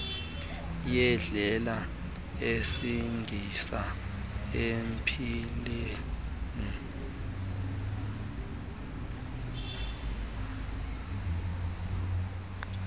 yendlela esingisa empilweni